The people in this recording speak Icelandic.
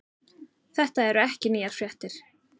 Þetta eru ekki nýjar fréttir